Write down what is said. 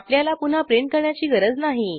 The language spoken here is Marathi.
आपल्याला पुन्हा प्रिंट करण्याची गरज नाही